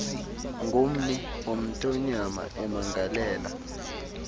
ngummi womthonyama emangalela